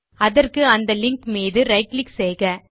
அதற்கு அந்த லிங்க் மீது ரைட் கிளிக் செய்க